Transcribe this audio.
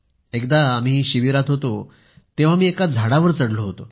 एकदा आम्ही शिबिरात होतो तेव्हा मी एका झाडावर चढलो होतो